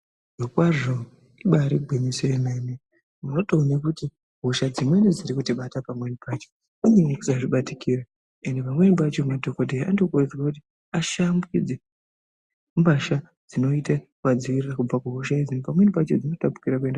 Zvirokwazvo ibarigwinyiso yemene unotoone kuti hosha dzimweni dzirikutibata pamweni pacho inyaya yekusazvibatikira ende pamweni pacho madhokodheya anokurudzirwa kuti ashambidze mbasha dzinoita vadziirirwe kubva kuhosha idzi pamweni pacho dzinotapukira kuenda.